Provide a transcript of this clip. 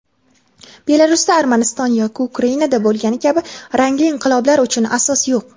Belarusda Armaniston yoki Ukrainada bo‘lgani kabi rangli inqiloblar uchun asos yo‘q.